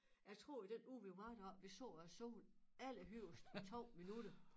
Jeg tror i den uge vi var deroppe vi så æ sol allerhøjest 2 minutter